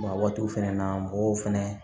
waatiw fɛnɛ na mɔgɔw fɛnɛ